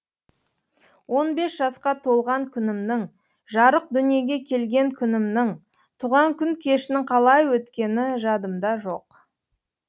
он бес жасқа толған күнімнің жарық дүниеге келген күнімнің туған күн кешінің қалай өткені жадымда жоқ